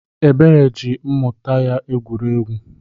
Ebere ji mmuta ya egwuregwu.